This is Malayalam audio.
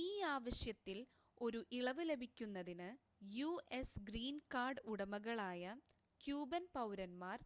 ഈ ആവശ്യത്തിൽ ഒരു ഇളവ് ലഭിക്കുന്നതിന് യുഎസ് ഗ്രീൻ കാർഡ് ഉടമകളായ ക്യൂബൻ പൗരന്മാർ